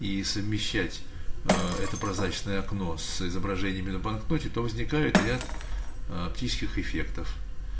и совмещать это прозрачное окно с изображениями на банкноте то возникает ряд оптических эффектов